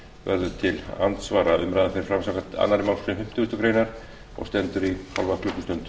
verður til andsvara umræðan fer fram samkvæmt annarri málsgrein fimmtugustu grein og stendur í hálfa klukkustund